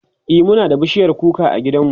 e Muna da bishiyar kuka a gidan mu